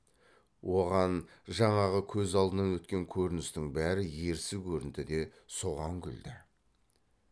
оған жаңағы көз алдынан өткен көріністің бәрі ерсі көрінді де соған күлді